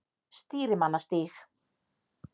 Stýrimannastíg